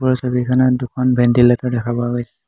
ওপৰৰ ছবিখনত দুখন ভেণ্টিলেটৰ দেখা পোৱা গৈছে।